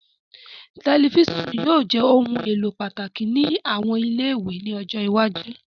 Tẹlifisiọnu yóò jẹ ohun elo pataki ni awọn ile-iwe ni ọjọ iwaju